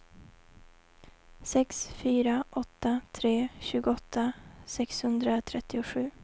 sex fyra åtta tre tjugoåtta sexhundratrettiosju